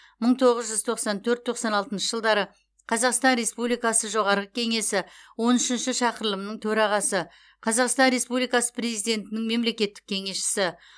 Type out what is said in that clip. мың тоғыз жүз тоқсан төрт тоқсан алтыншы жылдары қазақстан республикасы жоғарғы кеңесі он үшінші шақырылымының төрағасы қазақстан республикасы президентінің мемлекеттік кеңесшісі